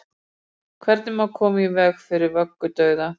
Hvernig má koma í veg fyrir vöggudauða?